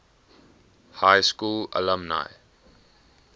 high school alumni